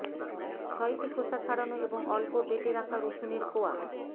ছয়টি খোসা ছাড়ানো এবং অল্প বেটে রাখা রসুনের কোয়া